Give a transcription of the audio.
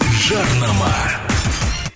жарнама